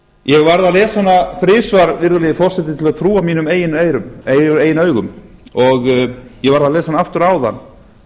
ég varð að lesa hana þrisvar virðulegi forseti til að trúa mínum eigin augum og ég varð að lesa hana aftur áðan